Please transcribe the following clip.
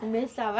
Começava.